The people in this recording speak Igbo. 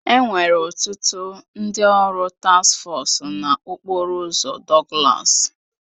Enwere ọtụtụ ndị ọrụ task foosu na okporo ụzọ Douglas